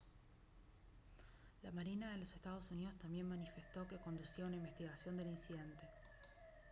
la marina de los estados unidos también manifestó que conducía una investigación del incidente